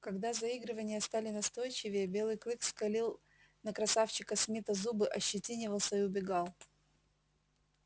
когда заигрывания стали настойчивее белый клык скалил на красавчика смита зубы ощетинивался и убегал